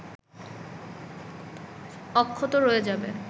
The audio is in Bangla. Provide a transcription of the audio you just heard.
অক্ষত রয়ে যাবে